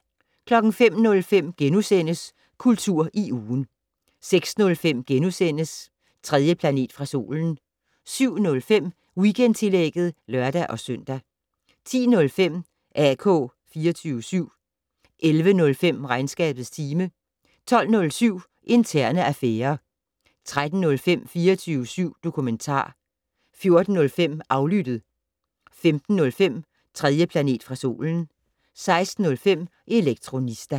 05:05: Kultur i ugen * 06:05: 3. planet fra solen * 07:05: Weekendtillægget (lør-søn) 10:05: AK 24syv 11:05: Regnskabets time 12:07: Interne affærer 13:05: 24syv dokumentar 14:05: Aflyttet 15:05: 3. planet fra solen 16:05: Elektronista